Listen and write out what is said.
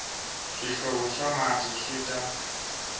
swihlovo swa mati swi ta